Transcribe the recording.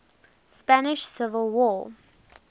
spanish civil war